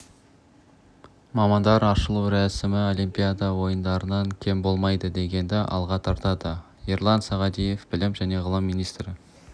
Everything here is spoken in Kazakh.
біздің спортшыларға алғашқы үштікке кіру міндеті жүктелді бәсекелестік өте жоғары сондықтан өзге командалардың да қарымды екенін